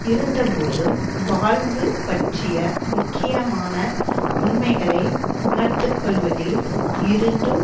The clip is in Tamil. இருந்த போதும் வாழ்வு பற்றிய முக்கியமான உண்மைகளை உணர்த்து கொள்வதில் இருந்தும்